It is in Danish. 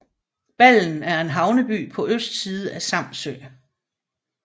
Ballen er en havneby på østsiden af Samsø